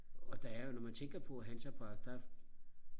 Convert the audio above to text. og der er jo når man tænker på at Hansa Park der